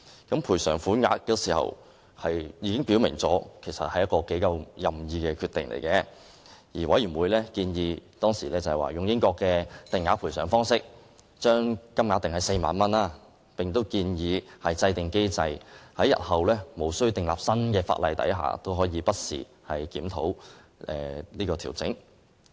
關於賠償款額，當時已表明是一個頗為任意的決定，而委員會當時建議根據英國的定額賠償方式，將金額定為4萬元，同時建議制訂機制，日後在無須訂立新法例的情況下，也可以不時檢討和調整。